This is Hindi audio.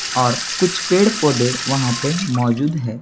और कुछ पेड़-पौधे वहाँ पे मौजूद है।